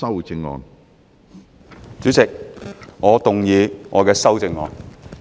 主席，我動議我的修正案。